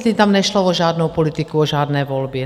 Tam nešlo o žádnou politiku, o žádné volby.